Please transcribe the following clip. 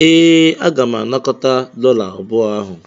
Ee, agara m anakọta dọla abụọ ahụ.